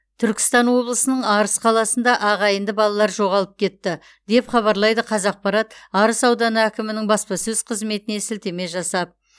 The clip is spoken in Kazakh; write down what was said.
түркістан облысының арыс қаласында ағайынды балалар жоғалып кетті деп хабарлайды қазақпарат арыс ауданы әкімінің баспасөз қызметіне сілтеме жасап